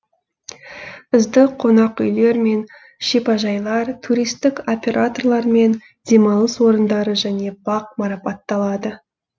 үздік қонақүйлер мен шипажайлар туристік операторлар мен демалыс орындары және бақ марапатталады